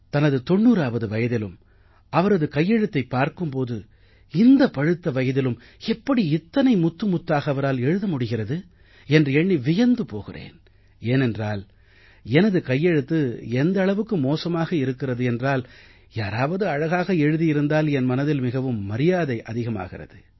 தனது 90ஆவது வயதிலும் அவரது கையெழுத்தைப் பார்க்கும் போது இந்த பழுத்த வயதிலும் எப்படி இத்தனை முத்து முத்தாக அவரால் எழுத முடிகிறது என்று எண்ணி வியந்து போகிறேன் ஏனென்றால் எனது கையெழுத்து எந்த அளவுக்கு மோசமாக இருக்கிறது என்றால் யாராவது அழகாக எழுதியிருந்தால் என் மனதில் மிகவும் மரியாதை அதிகரிக்கிறது